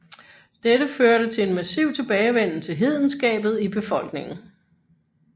Dette førte til en massiv tilbagevenden til hedenskabet i befolkningen